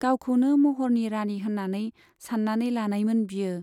गावखौनो महरनि राणी होन्नानै सान्नानै लानायमोन बियो।